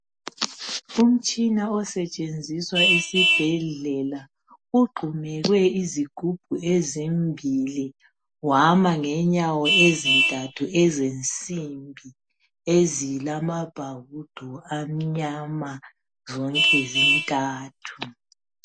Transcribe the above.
Umtshina osetshenziswa esibhedlela ugxumekwe izigubhu ezimbili wama ngenyawo ezintathu ezensimbi ezilamabhawudo amnyama zonke zintathu